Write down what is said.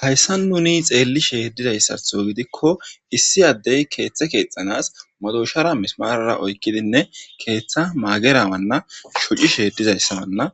hayssa nuni xeelli shee dizayssatho gidikko issi addey keeththe keexxanas madoushara mismarara oykkidinne keeththa maagerawanna shuci sheedizayssawanna